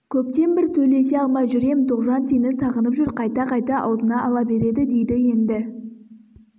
көптен бір сөйлесе алмай жүр ем тоғжан сені сағынып жүр қайта-қайта аузына ала береді дейді енді